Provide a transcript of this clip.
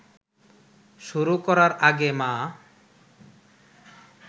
শুরু করার আগে মা